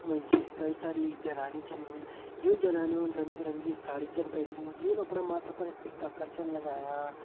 यख मां जी कई सारी जनानि छन युं जनानियों रंग - बिरंगी साड़ी छन पेहनीं यून अपणा माथा पर टिक्का कर छन लगायां।